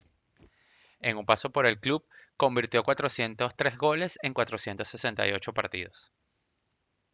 en su paso por el club convirtió 403 goles en 468 partidos